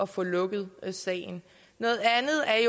få lukket sagen noget andet er